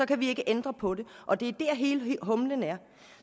kan vi ikke ændre på det og det er dér hele humlen er